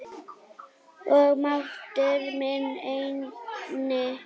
Og máttur minn einnig.